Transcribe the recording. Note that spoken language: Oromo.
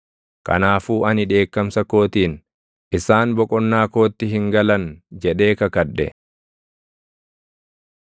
Kanaafuu ani dheekkamsa kootiin, “Isaan boqonnaa kootti hin galan” jedhee kakadhe.